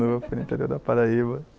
foi no interior da Paraíba.